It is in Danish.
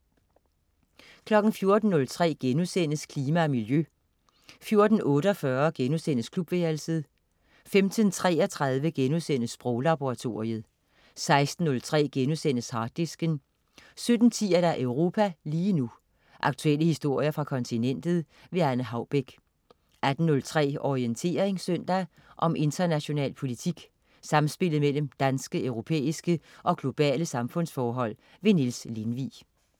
14.03 Klima og miljø* 14.48 Klubværelset* 15.33 Sproglaboratoriet* 16.03 Harddisken* 17.10 Europa lige nu. Aktuelle historier fra kontinentet. Anne Haubek 18.03 Orientering søndag. Om international politik, samspillet mellem danske, europæiske og globale samfundsforhold. Niels Lindvig